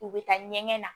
U bɛ taa ɲɛgɛn na